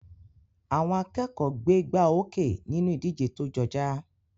Àwọn akẹ́kọ̀ọ́ gbégbáoókè nínú ìdíje tó jọjá.